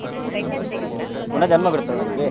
ಪುನಃ ಜನ್ಮ ಬರುತ್ತಾ ಅವನಿಗೆ?